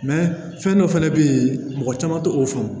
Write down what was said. fɛn dɔ fɛnɛ bɛ yen mɔgɔ caman t'o fɔ